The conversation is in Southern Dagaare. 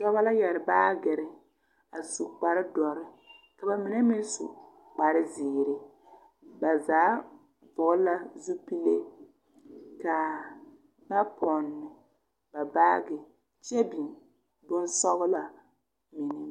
Dɔbɔ la yɛr baaɡere a su kpardɔre ka ba mine meŋ su kparziiri ba zaa vɔɔl la zupile ka ba pɔn ba baaɡe kyɛ biŋ bonsɔɡelaa mine.